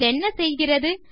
இதென்ன செய்கிறது